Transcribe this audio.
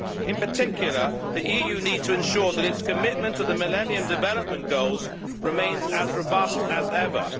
In particular, the EU needs to ensure that its commitment to the Millennium Development Goals remains as robust as ever.